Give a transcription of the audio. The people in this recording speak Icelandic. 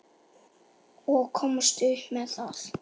Og komist upp með það.